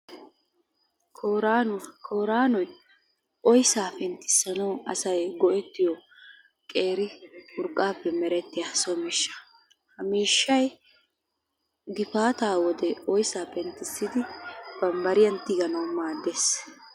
Koyraanuwa, koyraanoy oyssaa penttissanawu asay go'ettiyo qeeri urqqaappe merettiya so miishsha. Ha miishshay gifaata wode oyssaa penttissidi babbariyan tiganawu maaddees.